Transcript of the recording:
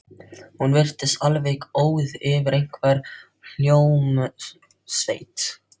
Hún virtist alveg óð yfir einhverri hljómsveit.